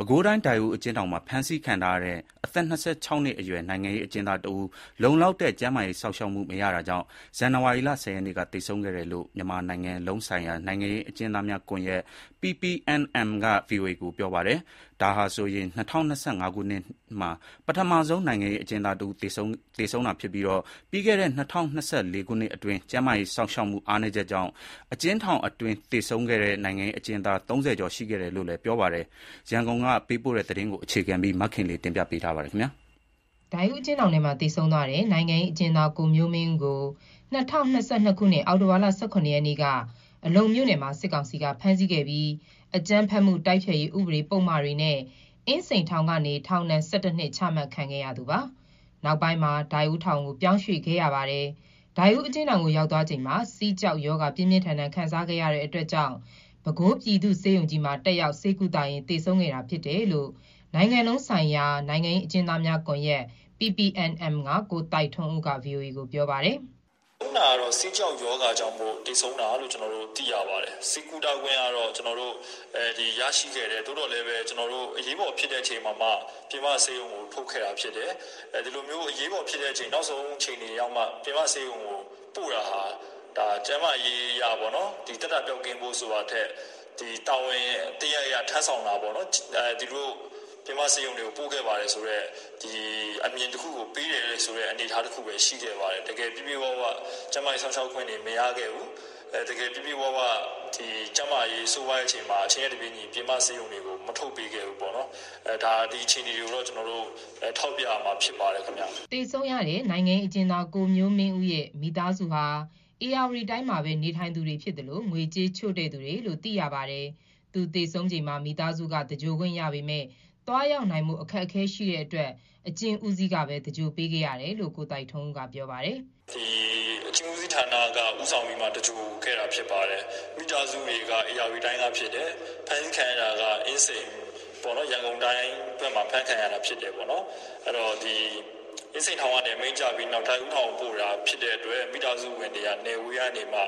ပဲခူးတိုင်း၊ ဒိုက်ဦး အကျဉ်းထောင်မှာ ဖမ်းဆီးခံထားရတဲ့ အသက် ၂၆ နှစ်အရွယ် နိုင်ငံရေးအကျဉ်းသား တဦး လုံလောက်တဲ့ ကျန်းမာရေး စောင့်ရှောက်မှု မရတာကြောင့် ဇန်နဝါရီလ ၁၀ ရက်နေ့က သေဆုံးခဲ့တယ်လို့ မြန်မာ နိုင်ငံလုံး ဆိုင်ရာ နိုင်ငံရေးအကျဉ်းသားများကွန်ရက် (PPNM) က VOA ကို ပြောပါတယ်။ ဒါဟာဆိုရင် ၂၀၂၅ ခုနှစ် နှစ်မှာ ပထမဆုံး နိုင်ငံရေးအကျဉ်းသား တဦး သေဆုံးတာဖြစ်ပြီး၊ ပြီးခဲ့တဲ့ ၂၀၂၄ ခုနှစ်အတွင်း ကျန်းမာရေး စောင့်ရှောက်မှု အားနည်းချက်ကြောင့် အကျဉ်းထောင်အတွင်း သေဆုံးခဲ့တဲ့ နိုင်ငံရေးအကျဉ်းသား ၃၀ ကျော်ရှိခဲ့တယ်လို့လည်း ပြောပါတယ်။ ရန်ကုန်က သတင်းပေးပို့ထားပါတယ်။ ဒိုက်ဦး အကျဉ်းထောင်ထဲမှာ သေဆုံးသွားတဲ့ နိုင်ငံရေးအကျဉ်းသား ကိုမျိုးမင်းဦးကို ၂၀၂၂ ခုနှစ် အောက်တိုဘာလ ၁၇ ရက်နေ့က အလုံမြို့နယ်မှာ စစ်ကောင်စီဖမ်းဆီးခဲ့ တာပါ။ ၂၀၂၄ ခုနှစ် မေလ ၃၁ ရက်နေ့မှာ အကြမ်းဖက်မှုတိုက်ဖျက်ရေး ဥပဒေပုဒ်မတွေနဲ့ အင်းစိန်ထောင်ကနေ ထောင်ဒဏ် ၁၁ နှစ် ချမှတ်ခံခဲ့ ရသူ ဖြစ်ပါတယ်။ နောက်ပိုင်းမှာ ဒိုက်ဦးထောင်ကို ပြောင်းရွှေ့ခဲ့ပါတယ်။ ဒိုက်ဦးအကျဉ်းထောင်ကို ရောက်သွားချိန်မှာ ဆီးကျောက်ရောဂါ ပြင်းပြင်းထန်ထန် ခံစားရတာကြောင့် ပဲခူးပြည်သူ့ဆေးရုံကြီးမှာ တက်ရောက်ဆေးကုသရင်း သေဆုံးခဲ့တာဖြစ်တယ်လို့နိုင်ငံလုံးဆိုင်ရာ နိုင်ငံရေး အကျဉ်းသားများကွန်ရက် (PPNM) က ကိုသိုက်ထွန်းဦးက VOA ကို ပြောပါတယ်။ "ဆုံးတာကတော့ ဆီးကျောက်ရောဂါကြောင့်သေဆုံးတာလို့သိရပါတယ်။ ဆေးကုသခွင့်ရရှိခဲ့တယ် သို့သော်လည်း အရေးပေါ်ဖြစ်တော့မှပြင်ပဆေးရုံကိုထုတ်ခဲ့ တာဖြစ်တယ်။ ဒီလိုအရေးပေါ်ဖြစ်တော့မှပြင်ပဆေးရုံကိုပို့တာဟာ ကျန်းမာရေးအရသက်သာပျောက်ကင်းဖို့ဆိုတာထပ် တာဝန်တရပ်အရထမ်းဆောင်တာ ပေါ့သူတို့ ပြင်ပဆေးရုံကိုပို့ခဲ့ပါတယ်ဆိုတဲ့အမြင်တခုကိုပေးတယ်ဆိုတာဘဲရှိခဲ့ပါတယ် တကယ်ပြည့်ပြည့်ဝဝကျန်းမာရေးစောင့်ရှောက်ခွင့်တွေမရခဲ့ဘူး။ တကယ်ပြည့်ပြည့်ဝဝကျန်းမာရေးဆိုးဝါးချိန်မှာအချိန်နဲ့တပြေးညီ ပြင်ပဆေးရုံတွေကိုမထုတ်ခဲ့ဘူး ဒီအခြေအနေကိုတော့ ကျနော်တို့ထောက်ပြရမှာဖြစ်ပါတယ်။" သေဆုံးတဲ့ နိုင်ငံရေးအကျဉ်းသား ကိုမျိုးမင်းဦးရဲ့ မိသားစုဟာ ဧရာဝတီတိုင်းမှာဘဲ နေထိုင်သူတွေဖြစ်သလို ငွေကြေးချို့တဲ့သူတွေလို့ သိရပါတယ်။ သူ သေဆုံးချိန်မှာ မိသားစုက သဂြိုလ်ခွင့်ရပေမယ့် သွားရောက်နိုင်ဖို့အခက်အခဲရှိတဲ့အတွက် အကျဉ်းဦးစီးကဘဲ သဂြိုလ်ပေးခဲ့တယ်လို့ ကိုသိုက်ထွန်းဦးကပြော ပါတယ်။ "သူ့ကိုအကျဉ်းဦးစီးဌာနက ဦးဆောင်သဂြိုလ်ခဲ့တာဖြစ်ပါတယ်။ မိသားစုတွေကဧရာဝတီတိုင်းကဖြစ်ပါတယ်။ ဖမ်းခံရတာကအင်းစိန် ရန်ကုန်တိုင်းဘက်မှာ အဖမ်းခံရတာဖြစ်တယ်။ အင်းစိန်ထောင်ကနေ ဒိုက်ဦးထောင်ကိုပို့တာဖြစ်တဲ့အတွက် မိသားစုတွေ နယ်ဝေးကနေမှ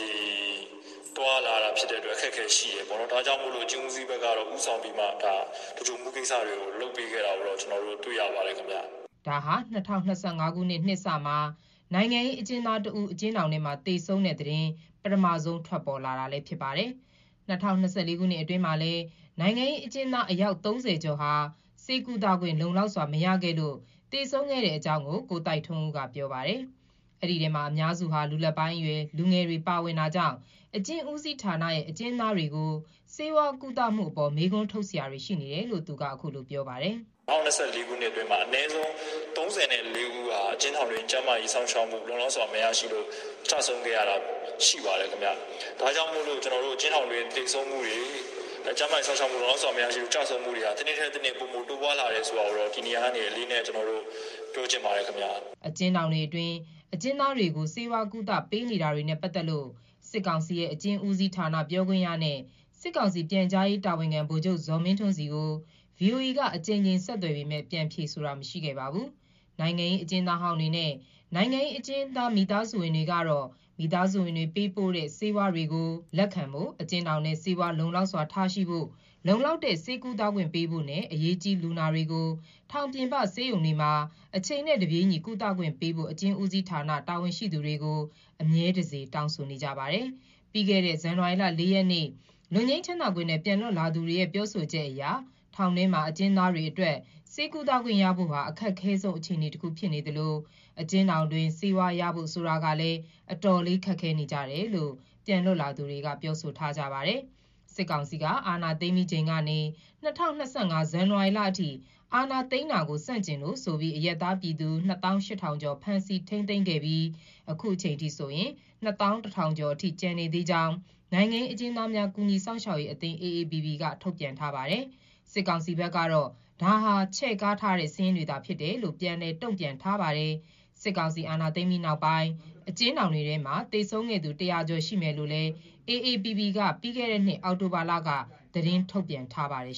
ဒီလိုသွားရလာရဖို့အခက်အခဲရှိတယ် ဒါ ကြောင့်မို့လို့ အကျဉ်းဦးစီးဘက်က သဂြိုလ်ဖို့လုပ်ပေးခဲ့တာမျိုးတွေ့ရပါတယ်။" ဒါဟာ ၂၀၂၅ ခုနှစ် နှစ်စမှာ နိုင်ငံရေးအကျဉ်းသားတဦး အကျဉ်းထောင်ထဲမှာ သေဆုံးတဲ့ သတင်း ပထမဆုံး ထွက်ပေါ်လာတာပါ။။ ၂၀၂၄ ခုနှစ်အတွင်းမှာလည်း နိုင်ငံရေးအကျဉ်းသား အယောက် ၃၀ ကျော်ဟာ ဆေးကုသခွင့်လုံလောက်စွာ မရလို့ သေဆုံးခဲ့တဲ့အကြောင်း ကိုသိုက်ထွန်းဦးကပြောပါတယ်။ ဒီထဲမှာအများစုဟာ လူလတ်ပိုင်းအရွယ်လူငယ်တွေပါဝင်တာကြောင့် အကျဉ်းဦးစီးဌာနရဲ့ အကျဉ်းသားတွေကို ဆေးဝါးကုသမှု အပေါ်မေးခွန်းထုတ်စရာတွေရှိနေတယ်လို့ သူကခုလိုပြောပြပါတယ်။ "၂၀၂၄ ခုနှစ်အတွင်းမှာ အနည်းဆုံး ၃၄ ဦးဟာ အကျဉ်းထောင်အတွင်း ကျန်းမာရေးစောင့်ရှောက်မှုလုံလောက်စွာမရလို့ ကျဆုံးခဲ့ရတာရှိပါတယ်။ ဒါကြောင့်မို့ အကျဉ်းထောင်အတွင်းသေဆုံးမှုတွေ ကျန်းမာရေးစောင့်ရှောက်မှုလုံလောက်စွာမရလို့ကျဆုံးမှုတွေက တနှစ်ထပ်တနှစ် တိုးလာတာကိုတော့ဒီနေရာကနေ အလေးအနက်ပြောချင်တယ်" အကျဉ်းထောင်တွေအတွင်းအကျဉ်းသားတွေကို ဆေးဝါးကုသပေးနေတာတွေနဲ့ ပတ်သက်လို့ စစ်ကောင်စီရဲ့ အကျဥ်းဦးစီးဌာန ပြောခွင့်ရနဲ့ စစ်ကောင်စီ ပြန်ကြားရေး တာဝန်ခံ ဗိုလ်ချုပ်ဇော်မင်းထွန်းဆီကို ဗွီအိုအေက အကြိမ်ကြိမ် ဆက်သွယ်ပေမယ့် ပြန်ဖြေဆိုတာမရှိခဲ့ပါဘူး။ နိုင်ငံရေးအကျဉ်းသားဟောင်းတွေနဲ့ နိုင်ငံရေးအကျဉ်းသားမိသားစုဝင်တွေကတော့ မိသားစုဝင်တွေ ပေးပို့တဲ့ ဆေးဝါးတွေကို လက်ခံဖို့၊ အကျဉ်းထောင်ထဲ ဆေးဝါးလုံလောက်စွာ ထားရှိဖို့၊ လုံလောက်တဲ့ ဆေးကုသမှုပေးဖို့နဲ့ အရေးကြီး လူနာတွေကို ထောင်ပြင်ပ ဆေးရုံတွေမှာ အချိန်နဲ့တစ်ပြေးညီ ကုသခွင့်ပေးဖို့ အကျဉ်းဦးစီးဌာန တာဝန်ရှိသူတွေကို အမြဲတစေ တောင်းဆိုနေပါတယ်။ ပြီးခဲ့တဲ့ ဇန်နဝါရီ ၄ ရက်နေ့ လွတ်ငြိမ်းခွင့်နဲ့ ပြန်လွတ်လာသူတွေရဲ့ပြောဆိုချက်အရ ထောင်တွင်းမှာ အကျဉ်းသားတွေအတွက် ဆေးကုသခွင့်ရဖို့ဟာ အခက်အခဲဆုံးအခြေအနေတခုဖြစ်နေသလို အကျဉ်းထောင်တွင်း ဆေးဝါးရဖို့ဆိုတာလည်း တော်တော်လေးခက်ခဲနေကြရတယ်လို့ ပြန်လွတ်လာသူတွေကပြောဆိုထား ပါတယ်။ စစ်ကောင်စီက အာဏာသိမ်းပြီး ချိန်ကနေ ၂၀၂၅ ဇန်နဝါရီလ အထိအာဏာသိမ်းတာကိုဆန့်ကျင်လို့ဆိုပြီးအရပ်သား ပြည်သူ ၂၈၀၀၀ ကျော် ဖမ်းဆီး ထိန်းသိမ်းခံခဲ့ရပြီး အခုအချိန်အထိ ၂၁၀၀၀ ကျော် ရှိတဲ့အကြောင်း နိုင်ငံရေးအကျဉ်းသားများ ကူညီစောင့်ရှောက်ရေးအသင်း (AAPP) က ထုတ်ပြန်ထားပါတယ်။ စစ်ကောင်စီဘက်ကတော့ ဒါဟာချဲ့ကားထားတဲ့စာရင်းတွေသာဖြစ်တယ်လို့ ပြန်လည်တုံ့ပြန်ထားပါတယ်။ စစ်ကောင်စီ အာဏာသိမ်းပြီးနောက်ပိုင်း အကျဉ်းထောင်တွေထဲမှာ သေဆုံးခဲ့သူ တရာကျော်ရှိမယ်လို့လည်း AAPP က ပြီးခဲ့တဲ့နှစ် အောက်တိုဘာလက သတင်းထုတ်ပြန်ထားပါတယ်